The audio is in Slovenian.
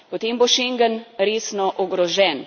Potem bo Schengen resno ogrožen.